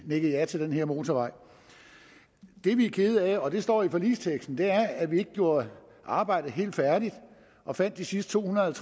nikke ja til den her motorvej det vi er kede af og det står i forligsteksten er at vi ikke gjorde arbejdet helt færdigt og fandt de sidste to hundrede og